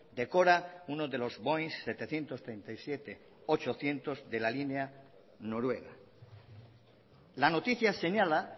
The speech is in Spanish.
decora uno de los boing setecientos treinta y siete ochocientos de la línea noruega la noticia señala